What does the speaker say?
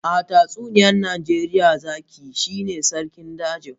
A tatsuniyar Najeriya, zaki shine sarkin dajin.